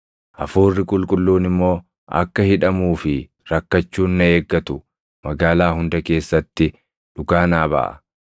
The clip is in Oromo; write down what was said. Hafuurri Qulqulluun immoo akka hidhamuu fi rakkachuun na eeggatu magaalaa hunda keessatti dhugaa naa baʼa.